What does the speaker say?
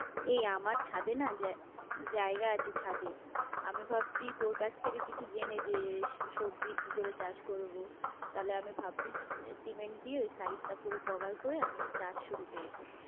এই আমার ছাদে না জায়গা আছে ছাদে, আমি ভাবছি তোর কাছ থেকে কিছু জেনে যে সবজির কি করে চাষ করবো, তাহলে আমি ভাবছি সিমেন্ট দিয়ে ওই side টা পুরো cover করে আমি চাষ শুরু করবো।